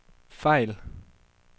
fejl